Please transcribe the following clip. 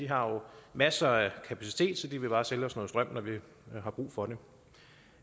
har masser af kapacitet så de vil bare sælge os noget strøm når vi har brug for det